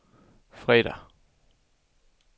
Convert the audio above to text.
fredag